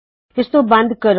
ਇਸਨੂੰ ਬੰਦ ਕਰੋ